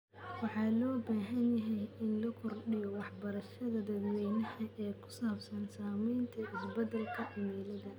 Waxaa loo baahan yahay in la kordhiyo waxbarashada dadweynaha ee ku saabsan saameynta isbeddelka cimilada.